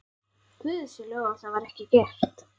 Guði sé lof að það var ekki gert.